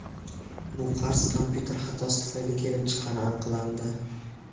Bu qarz kompyuter xatosi tufayli kelib chiqqani aniqlandi.